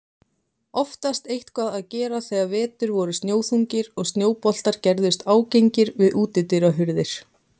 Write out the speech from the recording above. Oftast eitthvað að gera þegar vetur voru snjóþungir og snjóboltar gerðust ágengir við útidyrahurðir.